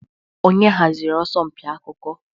Onye haziri asọmpi akụkọ?